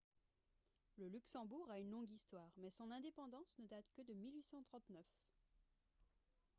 le luxembourg a une longue histoire mais son indépendance ne date que de 1839